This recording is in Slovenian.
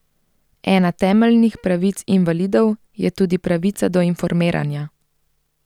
Ena temeljnih pravic invalidov je tudi pravica do informiranja.